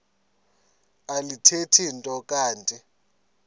alithethi nto kanti